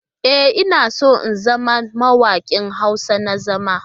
E,, ina so in zama mawaƙi Hausa na zama.